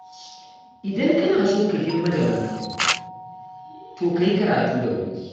Idan kana so ka girma da wuri, to ka yi karatu da wuri.